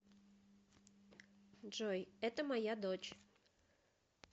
джой это моя дочь